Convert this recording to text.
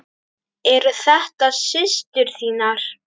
Eru þetta systur þínar?